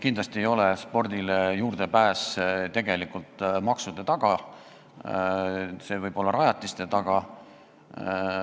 Kindlasti ei ole spordile juurdepääs maksude taga, see võib olla ka rajatiste taga.